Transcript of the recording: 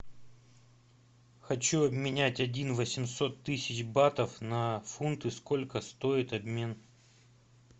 хочу обменять один восемьсот тысяч батов на фунты сколько стоит обмен